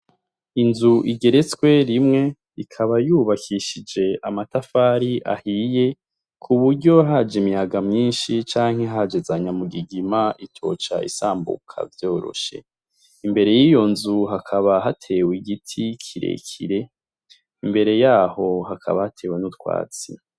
Inzu igeretswe rimwe ikaba yubakishije amatafari ahiye ku buryo haje imihaga myinshi canke hajezanya mu gigima itoca isambuka vyoroshe, imbere y'iyo nzu hakaba hatewe igiti kirekire imbere yaho hakaba hatewe n'utwazi.